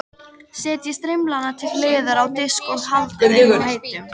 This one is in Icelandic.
Setjið strimlana til hliðar á disk og haldið þeim heitum.